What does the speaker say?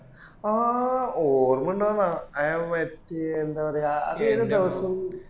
ആ ഓര്മയുണ്ടോന്ന അയ പറ്റിയേ എന്താ പറയാ അത് ഏത് ദവസം